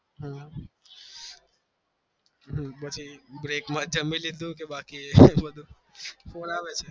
હમ પછી કે જમી લીધું ક બાકી એ બધું